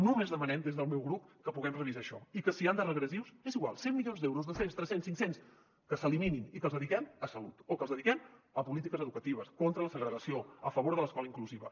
només demanem des del meu grup que puguem revisar això i que si n’hi han de regressius és igual cent milions d’euros dos cents tres cents cinc cents que s’eliminin i que els dediquem a salut o que els dediquem a polítiques educatives contra la segregació a favor de l’escola inclusiva